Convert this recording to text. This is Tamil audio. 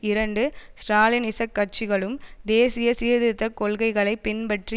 இரண்டு ஸ்ராலினிச கட்சிகளும் தேசிய சீர்திருத்த கொள்கைகளை பின்பற்றி